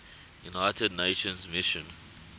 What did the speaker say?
united nations mission